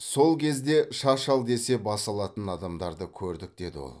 сол кезде шаш ал десе бас алатын адамдарды көрдік деді ол